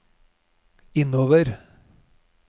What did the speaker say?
innover